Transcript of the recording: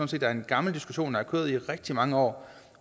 set er en gammel diskussion der har kørt i rigtig mange år